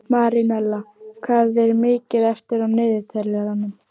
Marínella, hvað er mikið eftir af niðurteljaranum?